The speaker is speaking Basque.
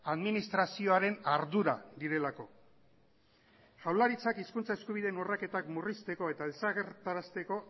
administrazioaren ardura direlako jaurlaritzak hizkuntza eskubideen urraketak murrizteko eta desagertarazteko